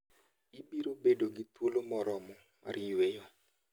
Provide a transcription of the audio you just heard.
Ibiro bedo gi thuolo moromo mar yueyo.